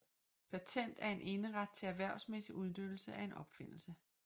Patent er en eneret til erhvervsmæssig udnyttelse af en opfindelse